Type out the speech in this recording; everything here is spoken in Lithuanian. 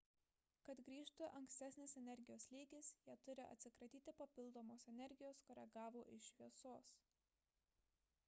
kad grįžtų ankstesnis energijos lygis jie turi atsikratyti papildomos energijos kurią gavo iš šviesos